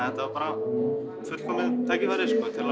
þetta var bara fullkomið tækifæri